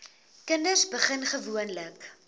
kinders begin gewoonlik